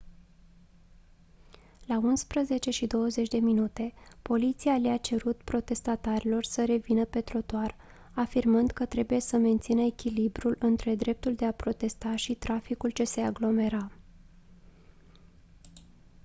la 11:20 poliția le-a cerut protestatarilor să revină pe trotuar afirmând că trebuie să mențină echilibrul între dreptul de a protesta și traficul ce se aglomera